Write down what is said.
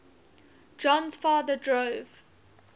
jon's father drove